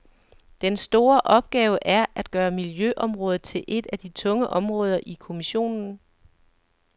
Den store opgave er at gøre miljøområdet til et af de tunge områder i kommissionen.